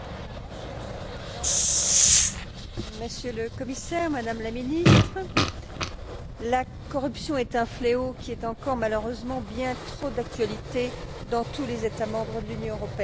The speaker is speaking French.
Monsieur le Président, Monsieur le Commissaire, Madame la Ministre, la corruption est un fléau qui est encore, malheureusement, bien trop d'actualité dans tous les États membres de l'Union européenne.